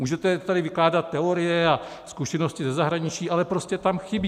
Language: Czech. Můžete tady vykládat teorie a zkušenosti ze zahraničí, ale prostě tam chybí.